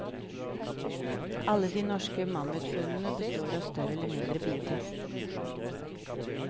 Alle de norske mammutfunnene består av større eller mindre biter.